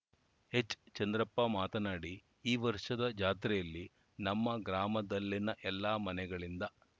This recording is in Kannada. ಎಚ್‌ಚಂದ್ರಪ್ಪ ಮಾತನಾಡಿ ಈ ವರ್ಷದ ಜಾತ್ರೆಯಲ್ಲಿ ನಮ್ಮ ಗ್ರಾಮದಲ್ಲಿನ ಎಲ್ಲ ಮನೆಗಳಿಂದ